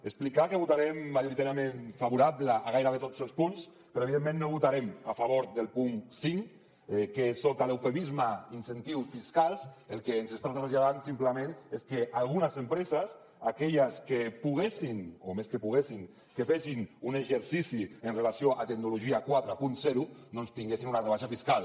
explicar que votarem majoritàriament favorablement a gairebé tots els punts però evidentment no votarem a favor del punt cinc que sota l’eufemisme incentius fiscals el que ens està traslladant simplement és que algunes empreses aquelles que poguessin o més que que poguessin que fessin un exercici en relació amb tecnologia quaranta doncs tinguessin una rebaixa fiscal